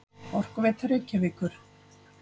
Orkuveita Reykjavíkur.